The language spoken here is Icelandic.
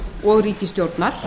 og ríkisstjórnar